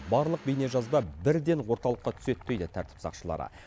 барлық бейнежазба бірден орталыққа түседі дейді тәртіп сақшылары